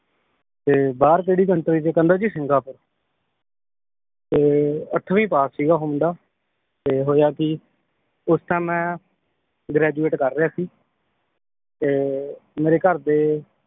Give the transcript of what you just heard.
ਤੇ ਬਾਹਰ ਕਿਹੜੀ country ਚ ਕਹਿੰਦਾ ਜੀ ਸਿੰਗਾਪੁਰ ਤੇ ਅੱਠਵੀਂ ਪਾਸ ਸੀਗਾ ਉਹ ਮੁੰਡਾ ਤੇ ਹੋਇਆ ਕੀ ਉਸ ਟਾਈਮ ਮੈ graduate ਕਰ ਰਿਹਾ ਸੀ ਤੇ ਮੇਰੇ ਘਰ ਦੇ